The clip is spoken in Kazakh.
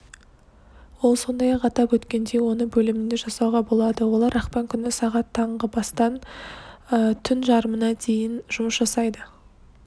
ол сондай-ақ атап өткендей оны бөлімінде жасауға болады олар ақпан күні сағат таңғы бастап түн жарымына дейін жұмыс жасайды